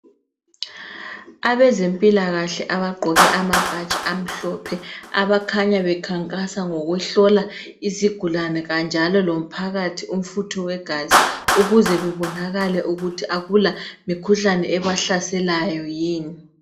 Abezempilakahle abagqoke amabhatshi amhlophe abakhanya bekhankasa ngokuhlola izigulane kanjalo lomphakathi umfutho wegazi, ukuze bebonakale ukuthi akula mikhuhlane ebahlaselayo yini.